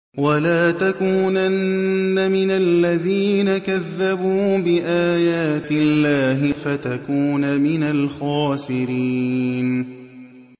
وَلَا تَكُونَنَّ مِنَ الَّذِينَ كَذَّبُوا بِآيَاتِ اللَّهِ فَتَكُونَ مِنَ الْخَاسِرِينَ